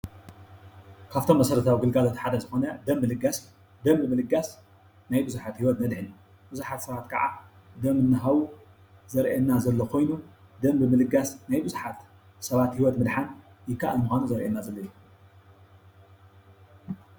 ካብቶም መሰረታዊ ግልጋሎት ሓደ ዝኮነ ደም ምልጋስ ደም ብ ምልጋስ ናይ ብዙሓት ሂወት ነድሕን ብዙሓ ሰባት ከዓ ደም እናሃቡ ዘርኢየና ዘሎ ኮይኑ ደም ብ ምልጋስ ናይ ብዙሓት ሰባት ሂወት ምድሓን ይከኣል ምኳኑ ዘርእየና ዘሎ እዩ።